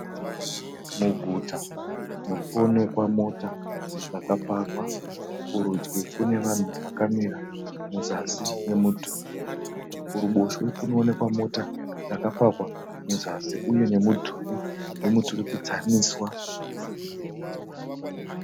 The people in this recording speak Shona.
Muguta murikuonekwa mota dzakapakwa. Kurudyi kune vanhu vakamira muzasi memudhuri. Kuruboshwe kunooekwa mota dzakapakwa muzasi uye nemudhuri wemuturikidzaniswa.